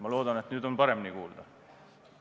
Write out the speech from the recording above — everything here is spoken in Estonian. Ma loodan, et nüüd on paremini kuulda.